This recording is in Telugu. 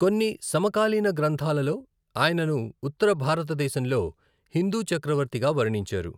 కొన్ని సమకాలీన గ్రంథాలలో, ఆయనను ఉత్తర భారతదేశంలో హిందూ చక్రవర్తిగా వర్ణించారు.